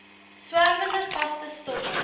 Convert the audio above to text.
swerwende vaste stowwe